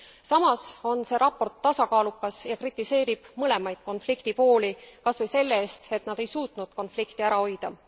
Samas on see raport tasakaalukas ja kritiseerib mõlemaid konfliktipooli, kas või selle eest, et nad ei suutnud konflikti ära hoida.